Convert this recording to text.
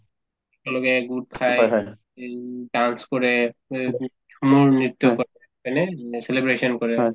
তেওঁলোকে গোট খাই এই উম dance কৰে ময়ূৰ নৃত্য হয় নে এই celebration কৰে